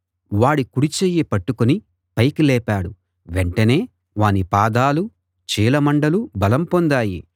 వాడి కుడి చెయ్యి పట్టుకుని పైకి లేపాడు వెంటనే వాని పాదాలూ చీలమండలూ బలం పొందాయి